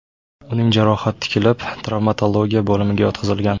Uning jarohat tikilib, travmatologiya bo‘limiga yotqizilgan.